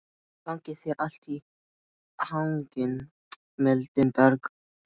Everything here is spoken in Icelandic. Gangi þér allt í haginn, Mildinberg.